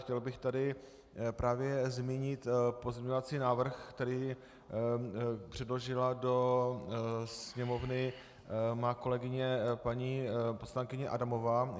Chtěl bych tady právě zmínit pozměňovací návrh, který předložila do Sněmovny má kolegyně paní poslankyně Adamová.